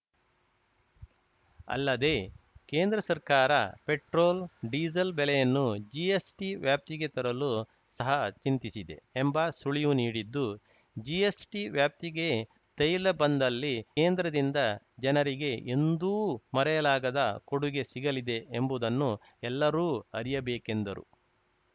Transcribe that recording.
ಅಲ್ಲದೇ ಕೇಂದ್ರ ಸರ್ಕಾರ ಪೆಟ್ರೋಲ್‌ ಡೀಸೆಲ್‌ ಬೆಲೆಯನ್ನು ಜಿಎಸ್‌ಟಿ ವ್ಯಾಪ್ತಿಗೆ ತರಲು ಸಹ ಚಿಂತಿಸಿದೆ ಎಂಬ ಸುಳಿವು ನೀಡಿದ್ದು ಜಿಎಸ್‌ಟಿ ವ್ಯಾಪ್ತಿಗೆ ತೈಲ ಬಂದಲ್ಲಿ ಕೇಂದ್ರದಿಂದ ಜನರಿಗೆ ಎಂದೂ ಮರೆಯಲಾಗದ ಕೊಡುಗೆ ಸಿಗಲಿದೆ ಎಂಬುದನ್ನು ಎಲ್ಲರೂ ಅರಿಯಬೇಕೆಂದರು